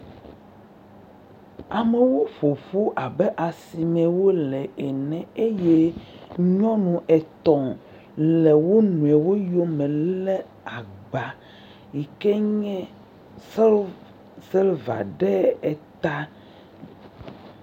Amewo ƒoƒu abe asimee wole ene eye nyɔnu etɔ̃ le wo nɔewo yome lé agba yike nye silva ɖe eta.